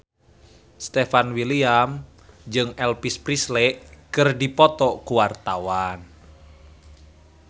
Stefan William jeung Elvis Presley keur dipoto ku wartawan